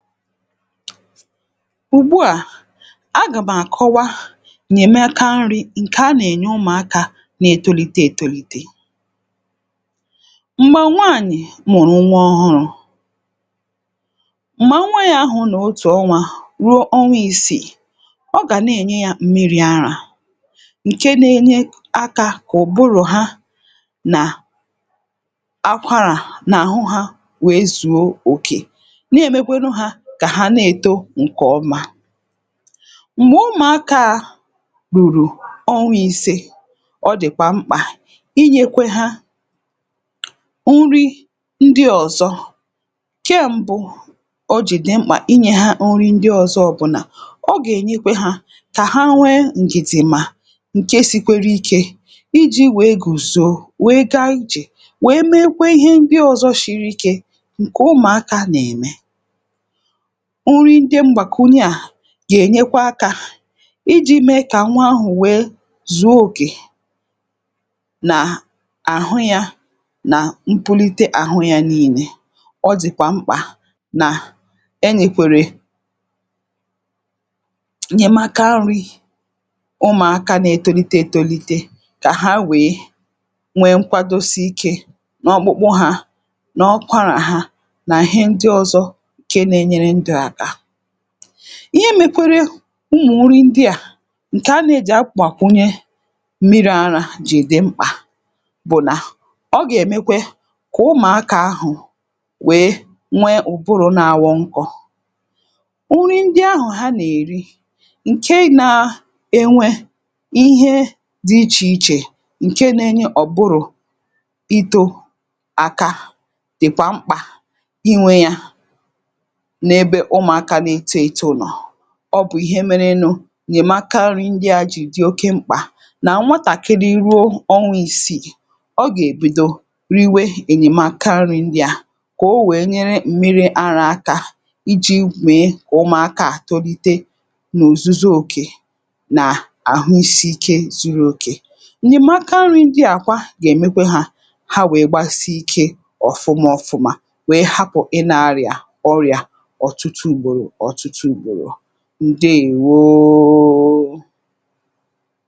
Ùgbu à agà m àkọwa ènyème aka nri̇ ǹkè anà-ènye ụmụ̀aka na-ètolite ètolite. Mgbè nwaànyị̀ mụ̀rụ̀ nwa ọhụrụ, m̀gbè nwa ya ahụ̀ nọ otù ọnwa ruo ọnwa i̇sìi. Ọ gà na-ènye yȧ mmiri̇ ara ǹke na-enye aka kà ụ̀bụrụ̀ ha nà akwarà n’àhụ ha wèe zùo òkè nà-èmekwanụ ha kà ha na-èto ǹkè ọma. Mgbè ụmụ̀aka a rùrù ọwa ise ọ dị̀kwà mkpà inyekwe ha nri ndị ọ̀zọ. Nke mbụ o jị̀ dị mkpà inyè ha nri ndị ọ̀zọ ọ bụ̀ nà ọ gà-ènyekwe ha kà ha nwee ǹgìdìmà ǹke sikwere ike ị ji̇ wèe gùzo wèe gaa ijè wèe meekwe ihe ndị ọ̀zọ shiri ike ǹkè ụmụ̀akȧ nà-ème. Nri ndị mgbakwunye a ga-enyekwa aka ị jị̇ mee kà nwa ahụ̀ wèe zùo okè nà àhụ ya nà mpụlite àhụ ya nii̇ne. Ọ dị̀kwà mkpà nà enyèkwèrè ǹyemàka nri ụmụ̀aka nà ètolite ètolite kà ha wèe nwee nkwadosi ike n’ọkpụkpụ ha nà ọkwarà ha na ihe ndị ọzọ nke na-enyere ndụ aka. Ihe mekwere ụmụ̀ nri ndị à ǹkè a nà-ejì akwàkwunye mmiri̇ ara jì dị̀ mkpà bụ̀ nà ọ gà-èmekwe kà ụmụ̀aka ahụ̀ wèe nwee ụ̀bụrụ̀ na-aghọ nkọ. Nri ndị ahụ̀ ha nà-èri ǹke na-enwe ihe dị ichè ichè ǹke nenye ụbụrụ̀ ito àka dị̀kwà mkpà ị nwe ya n'ebe ụmụ̀aka na-eto eto nọ. Ọ bụ̀ ihe mere nụ, ǹyèmaka nri ndị a jì di̇ oke mkpà nà-nwatàkịrị ruo ọnwa ịsịị, ọ gà-èbèdo riwe ǹyèmaka nri̇ ndị à, kà o wèe nyere m̀miri ara aka iji̇ mèe ụmụ̀aka à tolite n’òzuzo òkè nà àhụisi ike zuru òkè. Nyèmaka nri ndị à kwa gà-èmekwe ha ha wèe gbasị ike ọ̀fụma ọfụma wèe hapụ̀ ị na-arịà ọrịa ọtụtụ ùgbòrò ọtụtụ ùgbòrò, ǹdeèwoooo.